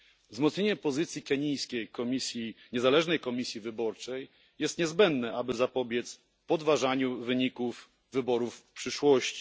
Wzmocnienie pozycji kenijskiej niezależnej komisji wyborczej jest niezbędne, aby zapobiec podważaniu wyników wyborów w przyszłości.